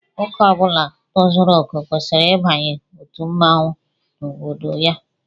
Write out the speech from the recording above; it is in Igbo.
Nwoke Ọbula tozuru okè kwesịrị ịbanye otu mmọnwụ n'obodo ya